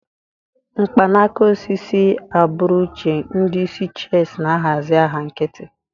Mkpanaka osisi, agbụrụ uche, ndị isi chess na-ahazi agha nkịtị.